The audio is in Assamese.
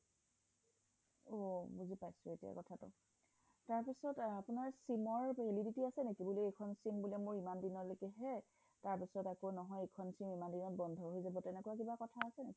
অ বুজি পাইছোঁ এতিয়া কথা টো তাৰ পিছত আপোনাৰ sim ৰ validity আছে নেকি বোলে এইখন sim ইমান দিনলৈকে হে নহয় এইখন sim ইমান দিনত বন্ধ হৈ যাব তেনেকুৱা কিবা কথা আছে নেকি